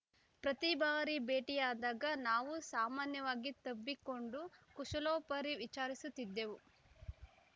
ಪ್ರತಿ ಬಾರಿ ಭೇಟಿಯಾದಾಗ ನಾವು ಸಾಮಾನ್ಯವಾಗಿ ತಬ್ಬಿಕೊಂಡು ಕುಶಲೋಪರಿ ವಿಚಾರಿಸುತ್ತಿದ್ದೆವು